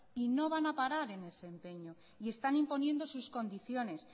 y no van a parar en ese empeño y están imponiendo sus condiciones